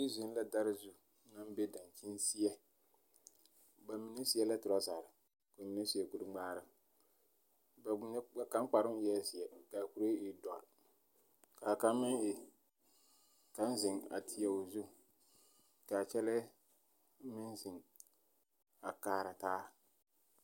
Meŋ zeŋ la dare zu naŋ be dankyinseɛ. Ba mine seɛ la toraser, ka ba mine seɛ kurŋmaara. Ba mine kaŋ kparoo eɛɛ zeɛ kaa kuree e dɔr. Kaa kaŋ meŋ e, kaŋ zeŋ a teɛ o zu, kaa kyɛlɛɛ meŋ zeŋ a kaara taa.